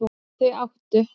Þau áttu